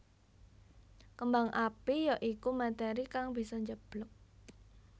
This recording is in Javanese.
Kembang api ya iku materi kang bisa njeblug